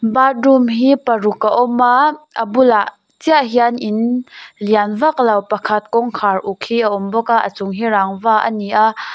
bathroom hi paruk a awma a bulah chiah hian in lian vaklo pakhat kawngkhar uk hi a awm bawka a chung hi rangva a ni a --